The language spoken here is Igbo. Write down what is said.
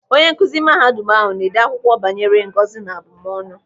Onye nkụzi mahadum ahụ na-ede akwụkwọ banyere ngọzi na abụmọnụ.